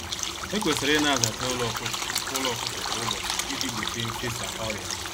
Ekwesịrị ịna-azacha ụlọ ọkụkọ ụlọ ọkụkọ kwa ụbọchị iji gbochie mfesa ọrịa.